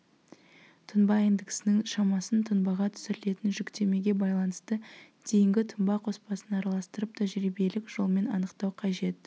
тұнба индексінің шамасын тұнбаға түсірілетін жүктемеге байланысты дейінгі тұнба қоспасын араластырып тәжірибелік жолмен анықтау қажет